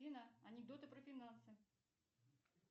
афина анекдоты про финансы